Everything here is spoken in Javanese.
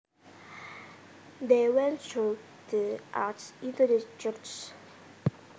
They went through the arch into the church